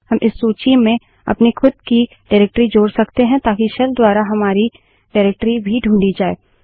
हम इस सूची में अपनी खुद की निर्देशिकाडाइरेक्टरी जोड़ सकते हैं ताकि शेल द्वारा हमारी निर्देशिका डाइरेक्टरी भी ढूँढी जाय